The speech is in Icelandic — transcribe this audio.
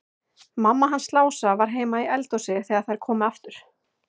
Mamma hans Lása var heima í eldhúsi þegar þær komu aftur.